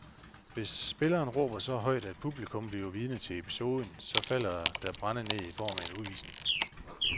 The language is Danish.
Hvis spilleren råber så højt, at publikum bliver vidne til episoden, så falder der brænde ned i form af en udvisning.